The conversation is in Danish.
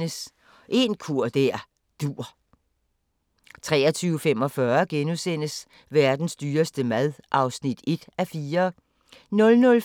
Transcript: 23:15: En kur der dur * 23:45: Verdens dyreste mad (1:4)* 00:40: Grænsepatruljen